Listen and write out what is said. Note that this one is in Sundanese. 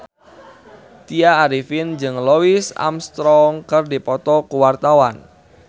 Tya Arifin jeung Louis Armstrong keur dipoto ku wartawan